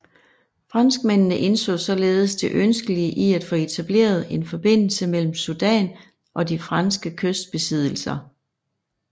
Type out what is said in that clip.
Franskmændene indså således det ønskelige i at få etableret en forbindelse mellem Sudan og de franske kystbesiddelser